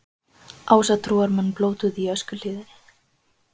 Ásatrúarmenn blótuðu í Öskjuhlíðinni